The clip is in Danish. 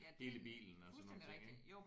Hele bilen og sådan nogle ting ik